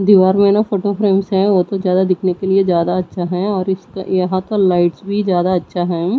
दीवार में न फोटो फ्रेम्स है वह तो ज्यादा दिखने के लिए ज्यादा अच्छा है और इसका यहां पर लाइट भी ज्यादा अच्छा हैं।